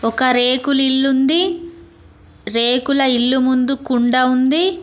ఒక రేకులిల్లుంది రేకుల ఇల్లు ముందు కుండ ఉంది.